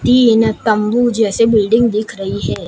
तीन तंबू जैसे बिल्डिंग दिख रही है।